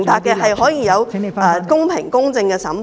是可以有公平、公正的審判。